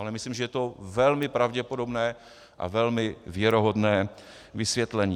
Ale myslím, že je to velmi pravděpodobné a velmi věrohodné vysvětlení.